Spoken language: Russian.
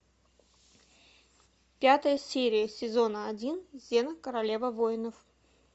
пятая серия сезона один зена королева воинов